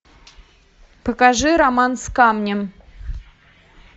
покажи роман с камнем